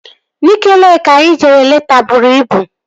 Nike Leeki anyị jere leta bụrụ ibu